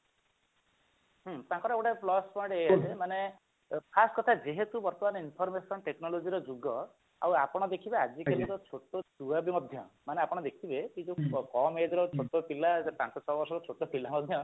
ତାଙ୍କର ଗୋଟେ plus point ଏଇଆ ଯେ ମାନେ first କଥା ଯେହେତୁ ବର୍ତମାନ information technology ର ଯୁଗ ଆଉ ଆପଣ ଦେଖିବେ ଆଜିକାଲିକା ଛୋଟଛୁଆ ବି ମଧ୍ୟ ମାନେ ଆପଣ ଦେଖିବେ ସେ ଯୋଉ କମ age ର ଛୋଟ ପିଲା ପାଞ୍ଚ ଛ ବର୍ଷର ଛୋଟ ପିଲା ମଧ୍ୟ